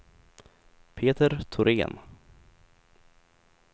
Peter Thorén